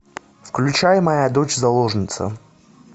включай моя дочь заложница